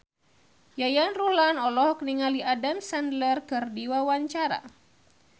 Yayan Ruhlan olohok ningali Adam Sandler keur diwawancara